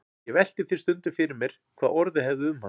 Ég velti því stundum fyrir mér hvað orðið hefði um hann.